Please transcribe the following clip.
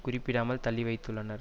குறிப்பிடாமல் தள்ளி வைத்துள்ளனர்